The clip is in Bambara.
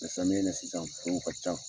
Samiya na sisan kow ka ca.